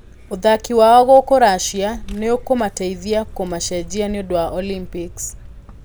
Ũthaki wao gũkũ russia nĩũkũmateithia kũmacenjia nĩũndũ wa olympics.